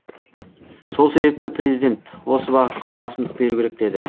сол себепті президент осы бағытқа басымдық беру керек деді